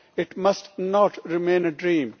it must not remain a dream.